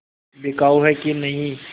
बिकाऊ है कि नहीं